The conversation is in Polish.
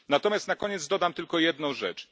Natomiast na koniec dodam tylko jedną rzecz.